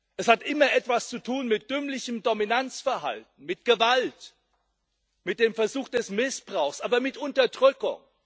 Es hat immer etwas zu tun mit dümmlichem Dominanzverhalten, mit Gewalt, mit dem Versuch des Missbrauchs, aber mit Unterdrückung.